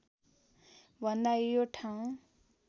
भन्दा यो ठाउँ